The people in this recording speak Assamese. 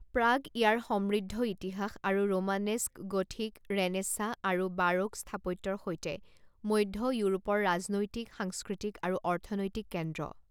প্ৰাগ ইয়াৰ সমৃদ্ধ ইতিহাস আৰু ৰোমানেস্ক, গথিক, ৰেনেছাঁ আৰু বাৰ'ক স্থাপত্যৰ সৈতে মধ্য ইউৰোপৰ ৰাজনৈতিক, সাংস্কৃতিক আৰু অৰ্থনৈতিক কেন্দ্ৰ।